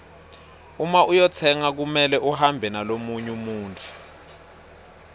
uma uyotsenga kumele uhambe nalomunye muntfu